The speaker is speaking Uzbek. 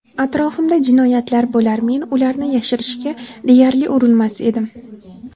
Atrofimda jinoyatlar bo‘lar, men ularni yashirishga deyarli urinmas edim.